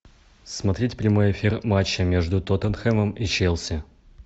смотреть прямой эфир матча между тоттенхэмом и челси